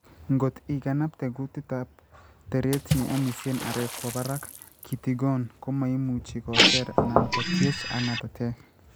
ngot iganabte kutitab teret ne amisien areek kwo barak kitigon komaimuchi koseer ana kutiech ak ng'atatek.